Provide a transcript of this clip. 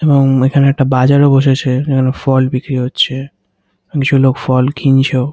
এবং এখানে একটা বাজারও বসেছে যেখানে ফল বিক্রি হচ্ছে কিছু লোক ফল কিনছেও।